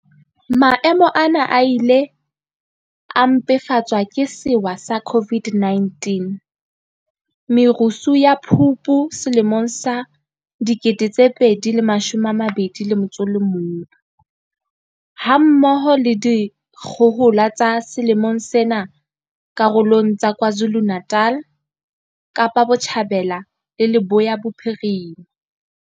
Maemo ana a ile a mpefatswa ke sewa sa COVID-19, merusu ya Phupu 2021, ha mmoho le dikgohola tsa selemong sena karolong tsa KwaZulu-Natal, Kapa Botjhabela le Leboya Bophirima.